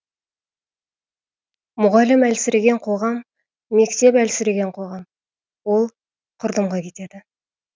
мұғалім әлсіреген қоғам мектеп әлсіреген қоғам ол құрдымға кетеді